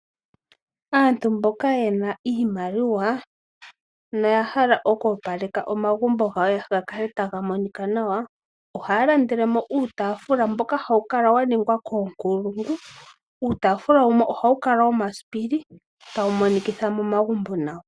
Aantu mboka te na iimaliwa noya hala okoopaleka momagumbo gawo mukale tamu monika nawa, ohaya landele mo uutaafula mboka hawu kala waningwa koonkulungu. Uutaafula wumwe ohawu kala womasipili tawu monikitha momagumbo nawa.